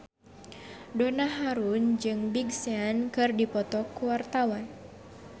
Donna Harun jeung Big Sean keur dipoto ku wartawan